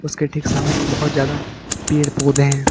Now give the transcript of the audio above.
इसके ठीक सामने बहुत ज्यादा पेड़ पौधे हैं।